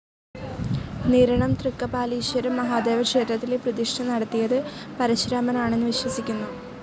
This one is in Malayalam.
നിരണം തൃക്കപാലീശ്വരം മഹാദേവക്ഷേത്രത്തിലെ പ്രതിഷ്ഠ നടത്തിയത് പരശുരാമനാണന്നു വിശ്വസിക്കുന്നു.